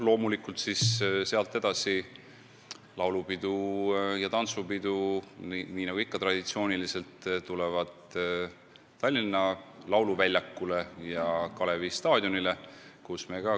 Loomulikult sealt edasi toimuvad laulupidu ja tantsupidu, nii nagu ikka, Tallinna lauluväljakul ja Kalevi staadionil.